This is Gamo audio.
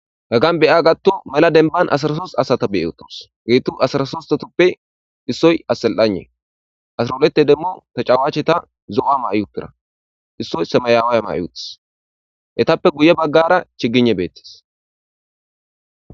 Gaggan beya gattu mela denban asarasos asata beyeotos geettu asarasostotoppe issoy assel'ane asrolete demmu ta cawache ta zo'a mayupira issoy sameyaawaya mayutis etappe guye baggara chiginne beettes.